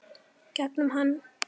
Gegnum hann.